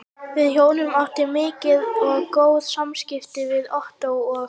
Við hjónin áttum mikil og góð samskipti við Ottó og